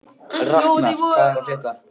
Raknar, hvað er að frétta?